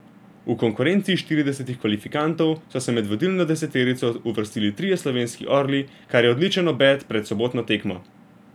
V konkurenci štiridesetih kvalifikantov so se med vodilno deseterico uvrstili trije slovenski orli, kar je odličen obet pred sobotno tekmo.